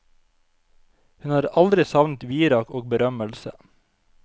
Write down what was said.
Hun har aldri savnet virak og berømmelse.